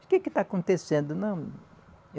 O que que está acontecendo? Não